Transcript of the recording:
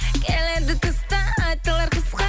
келеді тыстан айтылар қысқа